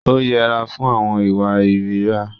Ó yẹra fún àwọn ìwà ìríra.